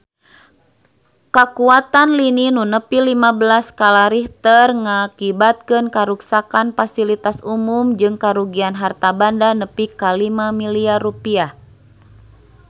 Kakuatan lini nu nepi lima belas skala Richter ngakibatkeun karuksakan pasilitas umum jeung karugian harta banda nepi ka 5 miliar rupiah